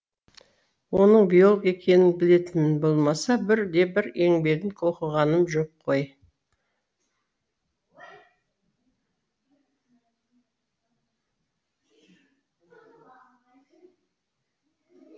оның биолог екенін білетінім болмаса бір де бір еңбегін оқығаным жоқ қой